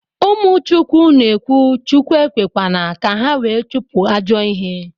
Umu chukwu na ekwu Chukwu ekwekwana ka ha wee chupu ajo ihe